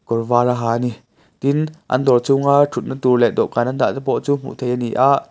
kawr vâr a ha a ni tin an dawr chunga ṭhutna tûr leh dawhkân an dahte pawh chu hmuh theih a ni a.